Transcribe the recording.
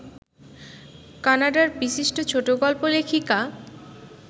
কানাডার বিশিষ্ট ছোটগল্প লেখিকা